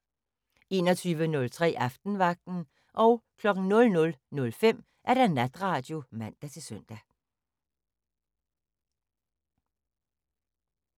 21:03: Aftenvagten 00:05: Natradio (man-søn)